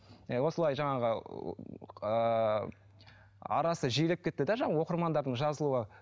ы осылай жаңағы ыыы арасы жиілеп кетті де жаңағы оқырмандардың жазылуы